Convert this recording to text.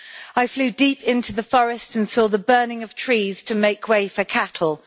I flew deep into the forest and saw the burning of trees to make way for cattle.